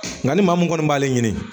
Nka ni maa min kɔni b'ale ɲini